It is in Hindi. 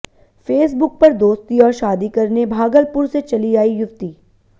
फेसबुक पर दोस्ती और शादी करने भागलपुर से चली आई युवती